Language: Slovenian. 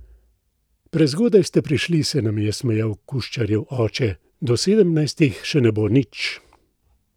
Prezgodaj ste prišli, se nam je smejal Kuščarjev oče, do sedemnajstih še ne bo nič!